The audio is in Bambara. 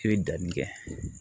I bɛ danni kɛ